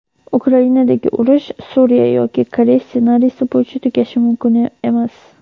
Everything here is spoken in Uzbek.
Ukrainadagi urush "Suriya" yoki "Koreys" ssenariysi bo‘yicha tugashi mumkin emas.